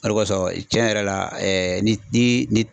O de kosɔn cɛn yɛrɛ la ni